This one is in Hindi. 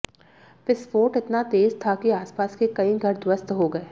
विस्फोट इतना तेज था कि आसपास के कई घर ध्वस्त हो गए